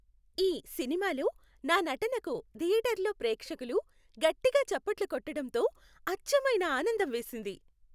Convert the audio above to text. ఈ సినిమాలో నా నటనకు థియేటర్లో ప్రేక్షకులు గట్టిగా చప్పట్లు కొట్టటంతో అచ్చమైన ఆనందం వేసింది.